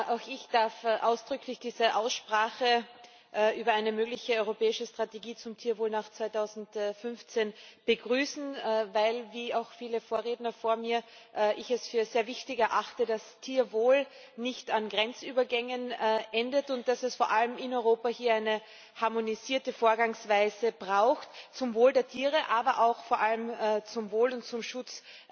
Auch ich darf diese Aussprache über eine mögliche europäische Strategie zum Tierwohl nach 2015 ausdrücklich begrüßen, weil ich es wie auch viele Vorredner vor mir ich es für sehr wichtig erachte, dass Tierwohl nicht an Grenzübergängen endet und dass es vor allem hier in Europa hier eine harmonisierte Vorgangsweise braucht, zum Wohl der Tiere, aber auch vor allem zum Wohl und zum Schutz